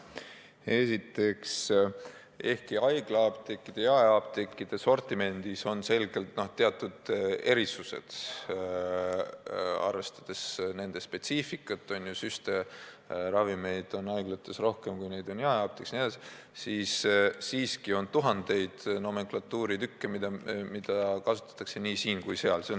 Esiteks, ehkki haiglaapteekide ja jaeapteekide sortimendis on selgelt teatud erisused, arvestades nende spetsiifikat – süstitavaid ravimeid on haiglates rohkem kui jaeapteekides jne –, on siiski tuhandeid nomenklatuuriartikleid, mida müüakse nii siin kui ka seal.